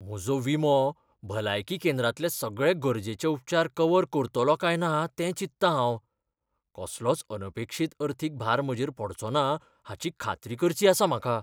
म्हजो विमो भलायकी केंद्रांतले सगळे गरजेचे उपचार कव्हर करतलो काय ना तें चिंततां हांव. कसलोच अनपेक्षीत अर्थीक भार म्हजेर पडचोना हाची खात्री करची आसा म्हाका.